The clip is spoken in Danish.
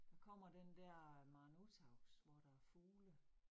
Der kommer den der Maren Uthaugs, hvor der er fugle